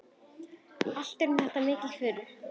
Allt eru þetta miklar furður.